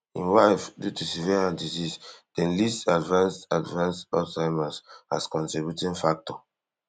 in wife due to severe heart disease dem list advanced advanced alzheimer as contributing factor